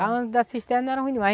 Antes da cisterna, era ruim demais.